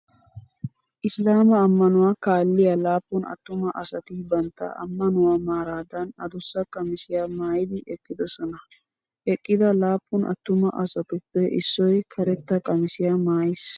Islaama ammanuwaa kaalliya laappun attumaa asati bantta ammanuwaa maaraadan addussa qamisiyaa maayidi eqqidosona. Eqqida laappun attumaa asatuppe issoy karetta qamisiyaa maayiis.